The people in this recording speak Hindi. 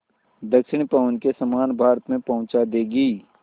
दक्षिण पवन के समान भारत में पहुँचा देंगी